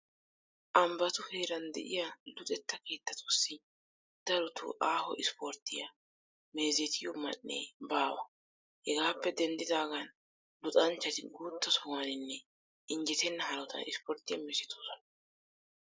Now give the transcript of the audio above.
Ambbatu heeran de'iya luxetta keettatussi darotoo aaho ispporttiya meezetiyo man"ee baawa. Hegaappe denddidaagan luxanchchati guutta sohuwaninne injjetenna hanotan ispporttiya meezetoosona.